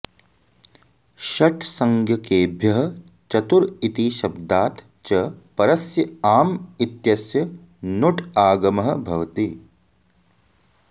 षट्संज्ञकेभ्यः चतुर् इति शब्दात् च परस्य आम् इत्यस्य नुट् आगमः भवति